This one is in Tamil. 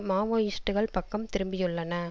மாவோயிஸ்டுக்கள் பக்கம் திரும்பியுள்ளன